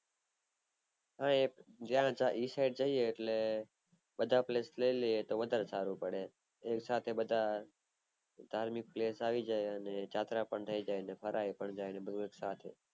હા એ side જઈએ તો બધા place લય લિયે તો વધારે સારું પડે ધાર્મિક place આવી જાય ને જાત્રા પણ થય જાય ફરાય પણ જાય બધું એક સાથ